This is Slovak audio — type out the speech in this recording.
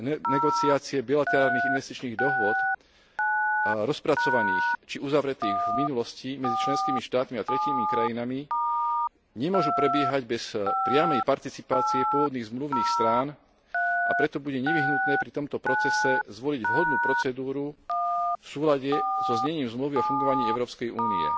Renegociácie bilaterálnych investičných dohôd rozpracovaných či uzavretých v minulosti medzi členskými štátmi a tretími krajinami nemôžu prebiehať bez priamej participácie pôvodných zmluvných strán, a preto bude nevyhnutné pri tomto procese zvoliť vhodnú procedúru v súlade so znením Zmluvy o fungovaní Európskej únie.